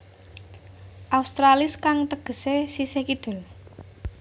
Australis kang tegesé sisih kidul